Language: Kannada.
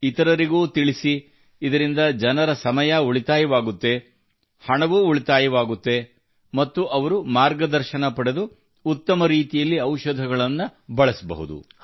ಇತರರಿಗೂ ತಿಳಿಸಿ ಇದರಿಂದ ಜನರ ಸಮಯ ಉಳಿತಾಯವಾಗುತ್ತದೆ ಹಣವೂ ಉಳಿತಾಯವಾಗುತ್ತದೆ ಮತ್ತು ಅವರು ಮಾರ್ಗದರ್ಶನ ಪಡೆದು ಉತ್ತಮ ರೀತಿಯಲ್ಲಿ ಔಷಧಗಳನ್ನು ಬಳಸಬಹುದು